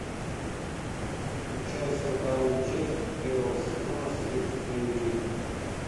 включай сороковую часть первого сезона следствие вели